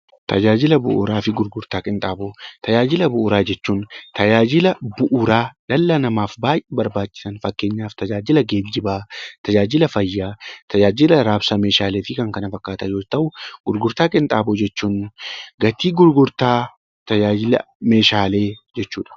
Tajaajila bu'uuraa fi gurgurtaa qinxaaboo Tajaajila bu'uuraa jechuun tajaajila bu'uuraa dhala namaaf baayyee barbaachisan kan fakkeenyaaf tajaajila geejibaa, tajaajila fayyaa, tajaajila raabsa Meeshaalee fi kan kana fakkaatan yoo ta'u, gurgurtaa qinxaaboo jechuun gatii gurgurtaa tajaajila Meeshaalee jechuudha.